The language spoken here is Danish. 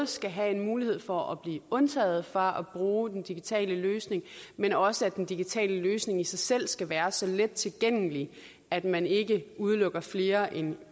skal have en mulighed for at blive undtaget fra at bruge den digitale løsning men også at den digitale løsning i sig selv skal være så let tilgængelig at man ikke udelukker flere end